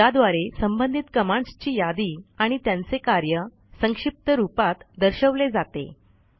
ज्याद्वारे संबंधित कमांडस् ची यादी आणि त्यांचे कार्य संक्षिप्त रूपात दर्शवले जाते